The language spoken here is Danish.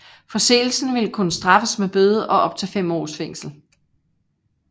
Forseelsen ville kunne straffes med bøde og op til fem års fængsel